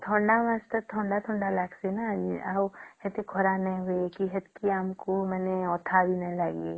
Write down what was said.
ଥଣ୍ଡା ମାସ ଟେ ଥଣ୍ଡା ଥଣ୍ଡା ଲାଗିଁସେ ନ ସେତେ ଖରା ବି ନାଇଁ ଲାଗିଁସେ ଆଉ ଆମକୁ ସେତକୀ ଅଠା ବି ନାଇଁ ଲାଗିଁସେ